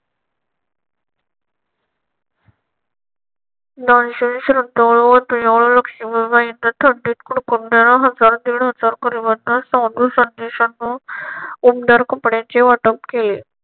दानशूर लक्ष्मीबाईंनी थंडीत कुडकुडणाऱ्या हजार-दीड हजार गरिबांना साधू संदेशांना उबदार कपड्यांचे वाटप केले.